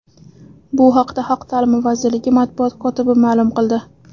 Bu haqda Xalq ta’limi vazirligi matbuot kotibi ma’lum qildi .